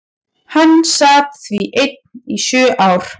Hann sat því einn í sjö ár.